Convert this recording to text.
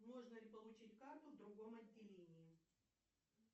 можно ли получить карту в другом отделении